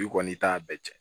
I kɔni i t'a bɛɛ cɛn